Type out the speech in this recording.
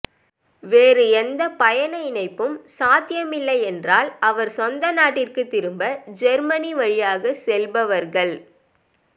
வேறு எந்த பயண இணைப்பும் சாத்தியமில்லை என்றால் அவர் சொந்த நாட்டிற்கு திரும்ப ஜேர்மனி வழியாக செல்பவர்கள்